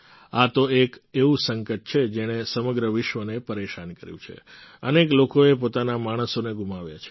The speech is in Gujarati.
આ તો એક એવું સંકટ છે જેણે સમગ્ર વિશ્વને પરેશાન કર્યું છે અનેક લોકોએ પોતાના માણસોને ગુમાવ્યા છે